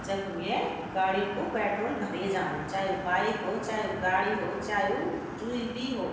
जखम ये गडियूँ कु पेट्रोल भरे जांदू चा वू बाइक हो चाए वू गाडी हो चाए वू जुई भी हो।